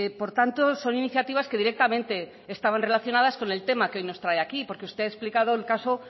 por tanto son iniciativas que directamente estaban relacionadas con el tema que hoy trae aquí porque usted ha explicado el caso